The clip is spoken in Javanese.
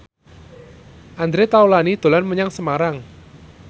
Andre Taulany dolan menyang Semarang